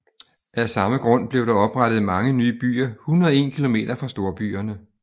Af samme grund blev der oprettet mange nye byer 101 km fra storbyerne